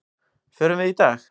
Förum við í dag?